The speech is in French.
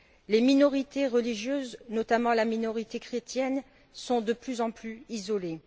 Les minorités religieuses, notamment la minorité chrétienne, sont de plus en plus isolées.